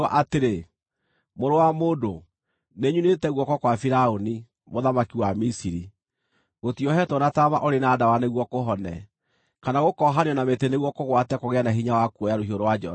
“Mũrũ wa mũndũ, nĩnyunĩte guoko kwa Firaũni, mũthamaki wa Misiri. Gũtiohetwo na taama ũrĩ na ndawa nĩguo kũhone, kana gũkoohanio na mĩtĩ nĩguo kũgwate kũgĩe na hinya wa kuoya rũhiũ rwa njora.